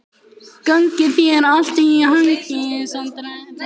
Gangi þér allt í haginn, Sandel.